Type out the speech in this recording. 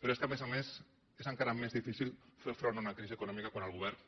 però és que a més a més és encara més difícil fer front a una crisi econòmica quan el govern